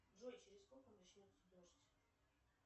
джой через сколько начнется дождь